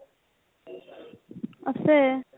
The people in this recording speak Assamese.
আছে ।